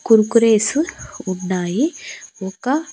Kurkures ఉన్నాయి ఒక.